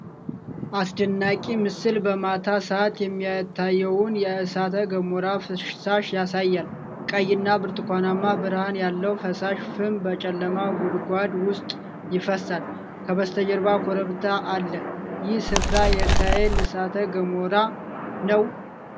አስደናቂ ምስል በማታ ሰዓት የሚታየውን የእሳተ ገሞራ ፍሳሽ ያሳያል። ቀይና ብርቱካናማ ብርሃን ያለው ፈሳሽ ፍም በጨለማ ጉድጓድ ውስጥ ይፈሳል። ከበስተጀርባ ኮረብታ አለ። ይህ ስፍራ የኤርታሌ እሳተ ገሞራ ነው?